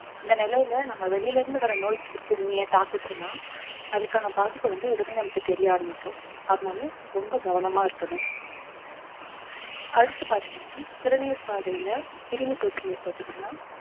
இந்த நிலையில நம்ம வெளியில இருந்து வர்ற நோய் கிருமியை தாக்குச்சுன்னா அதுக்கான பாதிப்பை வந்து உடனே நமக்கு தெரிய ஆரம்பிக்கும் அதனால ரொம்ப கவனமா இருக்கணும் அடுத்து பார்த்தீங்கன்னா சிறுநீர் பாதையில கிருமி தொற்று ஏற்பட்டுச்சுன்னா